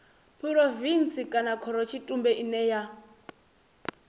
phurovintsi kana khorotshitumbe ine ya